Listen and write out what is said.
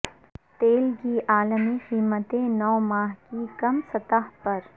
تیل کی عالمی قیمتیں نو ماہ کی کم سطح پر